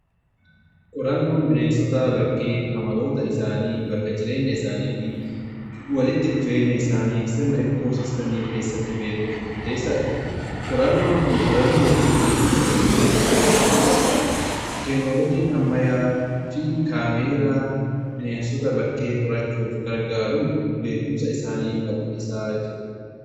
qorannoon bineensota bakkee amaloota isaanii, bakka jireenya isaanii fi walitti dhufeenya isaanii sirna ikkoosiistemii keessatti beekuuf murteessadha. qorannoon kun to'annoo fi eegumsa sirrii hojii irra olchuuf gargaara. teeknoolojiin ammayyaa fi kaameeraa bineensota bakkee qorachuuf gargaaruun beekumsa isaanii bal'isaa jiru.